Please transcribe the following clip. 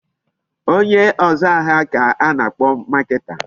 Onye ọzụ ahịa ka a na-akpọ marketer.